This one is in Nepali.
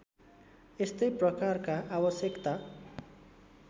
यस्तै प्रकारका आवश्यकता